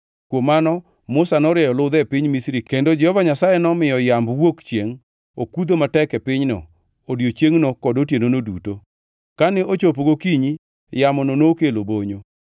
Kuom mano Musa norieyo ludhe e piny Misri, kendo Jehova Nyasaye nomiyo yamb wuok chiengʼ okudho matek e pinyno odiechiengno kod otienono duto. Kane ochopo gokinyi, yamono nokelo bonyo;